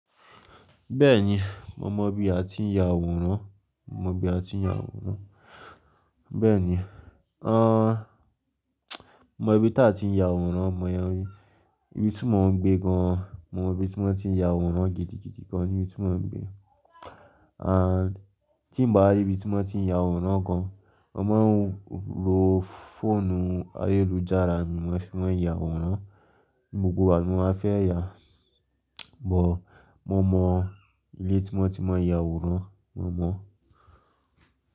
Bẹ́ẹ̀ni, mo mọ ibi a ti ń ya àwòrán, mo mọ ibi a ti ń ya àwòrán. Bẹ́ẹ̀ni, a n, mo mọ ibi tí a ti ń ya àwòrán, mo mọ ibi tí mò ń gbé gan, mo mọ ibi tí wọ́n ti ń ya àwòrán gidigidi gan níbi tí mò ń gbé. A, tí mo bá rí ibi tí wọ́n ti ń ya àwòrán gan, mo máa ń lo fóònù ayélujára ni wọ́n fi máa ń ya àwòrán. Gbogbo wa ni wá fẹ́ ya, bọ mo mọ ilé tí wọ́n ti máa ń ya àwòrán, mo mọ̀.